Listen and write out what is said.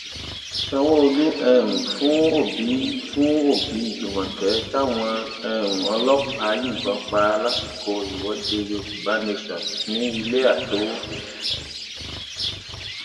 sanwóolu um fún òbí fún òbí júmọkè táwọn um ọlọpàá yìnbọn pa lásìkò ìwọde yorùbá nation ní ilé àtowó